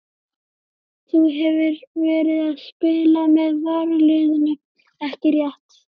Þú hefur verið að spila með varaliðinu ekki rétt?